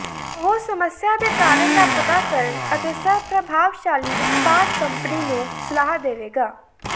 ਉਹ ਸਮੱਸਿਆ ਦੇ ਕਾਰਨ ਦਾ ਪਤਾ ਕਰਨ ਅਤੇ ਸਭ ਪ੍ਰਭਾਵਸ਼ਾਲੀ ਉਤਪਾਦ ਕੰਪਨੀ ਨੂੰ ਸਲਾਹ ਦੇਵੇਗਾ